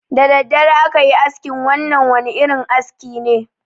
Da dare aka yi askin, wannan wani irin aski ne.